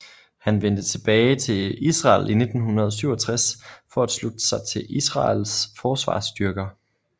Han vendte tilbage til Israel i 1967 for at slutte sig til Israels forsvarsstyrker